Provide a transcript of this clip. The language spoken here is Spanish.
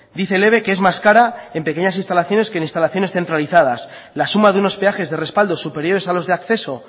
dice el eve que es más cara en pequeñas instalaciones que en instalaciones centralizadoras la suma de unos peajes de respaldo superiores a los de acceso